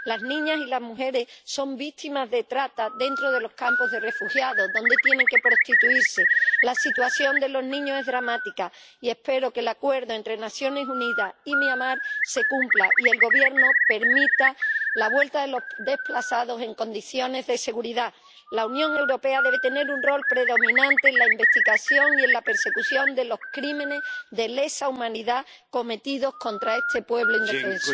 Las niñas y las mujeres son víctimas de trata dentro de los campos de refugiados, donde tienen que prostituirse. La situación de los niños es dramática, y espero que el acuerdo entre las Naciones Unidas y Myanmar se cumpla y el gobierno permita la vuelta de los desplazados en condiciones de seguridad. La Unión Europea debe tener un rol predominante en la investigación y en la persecución de los crímenes de lesa humanidad cometidos contra este pueblo indefenso.